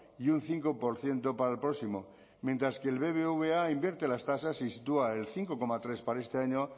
y un cinco por ciento para el próximo mientras que el bbva invierte las tasas y sitúa el cinco coma tres para este año